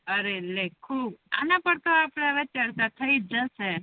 અરે અરે હુ અના પર તો આપડે ચર્ચા થઇ જસે